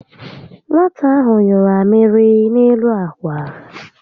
Nwata ahụ nyụrụ amịrị n'elu ákwà